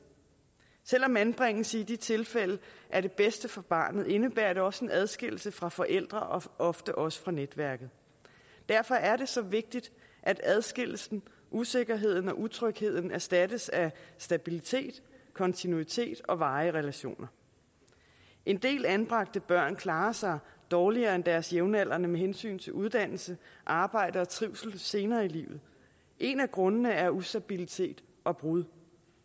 selv om anbringelse i de tilfælde er det bedste for barnet indebærer det også en adskillelse fra forældre og ofte også fra netværket derfor er det så vigtigt at adskillelsen usikkerheden og utrygheden erstattes af stabilitet kontinuitet og varige relationer en del anbragte børn klarer sig dårligere end deres jævnaldrende med hensyn til uddannelse arbejde og trivsel senere i livet en af grundene er ustabilitet og brud